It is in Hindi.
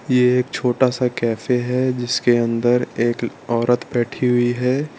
ये एक छोटा सा कैफे है जिसके अंदर एक औरत बैठी हुई है।